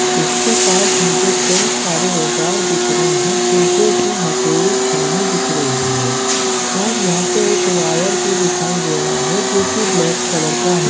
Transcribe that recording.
उसके पास मुझे कई सारे औजार दिख रहे है जेसे की हथोड़ी छेनी दिख रही है और यहाँ पे एक वायर भी दिखाई दे रहा है जो की ब्लैक कलर का है।